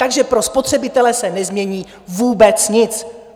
Takže pro spotřebitele se nezmění vůbec nic.